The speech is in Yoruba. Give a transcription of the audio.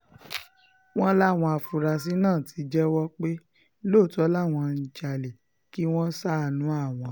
wọ́n láwọn afurasí náà ti jẹ́wọ́ pé lóòótọ́ làwọn ń jalè kí wọ́n ṣàánú àwọn